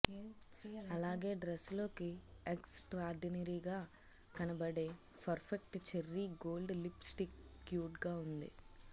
అలాగే డ్రెస్ లోకి ఎక్స్ ట్రార్డినరీగా కనబడే perfect cherry gold lipstick cute గా ఉంది